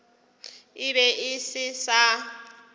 e be e se sa